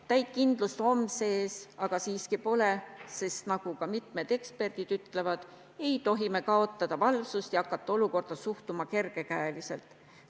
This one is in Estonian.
Täit kindlust homse ees aga siiski pole, sest nagu ka mitmed eksperdid ütlevad, ei tohi me kaotada valvsust ja hakata olukorda suhtuma kergekäeliselt.